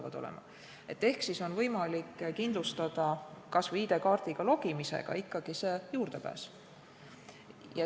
Võib-olla teha nii, et juurdepääsu saab pärast ID-kaardiga sisselogimist.